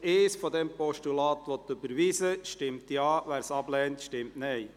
Wer die Ziffer 1 als Postulat überweisen möchte, stimmt Ja, wer dies ablehnt, stimmt Nein.